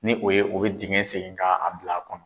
Ni o ye dengɛ seni k'a bila o kɔnɔ.